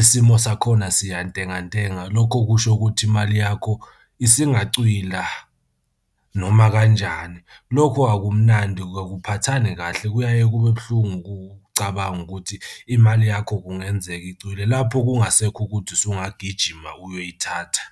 isimo sakhona siyantengantenga. Lokho kusho ukuthi imali yakho isingacwila noma kanjani. Lokho akumnandi akuphathani kahle kuyaye kube buhlungu ukucabanga ukuthi imali yakho kungenzeka icwile lapho kungasekho ukuthi usungagijima uyoyithatha.